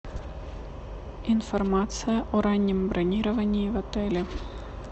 информация о раннем бронировании в отеле